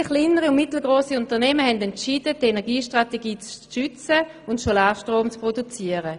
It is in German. Viele kleinere und mittelgrosse Unternehmen haben entschieden, die Energiestrategie zu stützen und Solarstrom zu produzieren.